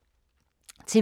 TV 2